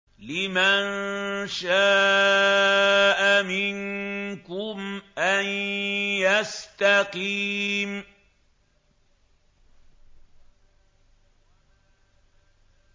لِمَن شَاءَ مِنكُمْ أَن يَسْتَقِيمَ